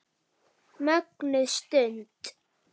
Mögnuð stund.